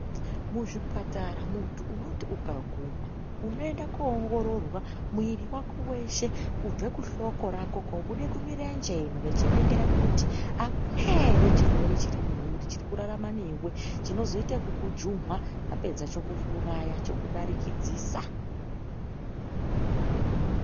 Muzvipatara muntu unoti ukaguma unoenda koongororwa mwiri wako weshe kubva kuhloko rako kobuda kumurenje ino vachiningira kuti akuna chirwere ere chiri kurarama newe chinozoita ekukujuma chapedza chokudarikidzisa.